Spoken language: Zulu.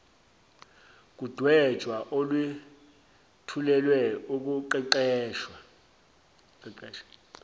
kudwetshwa olwethulelwe ukuqeqesha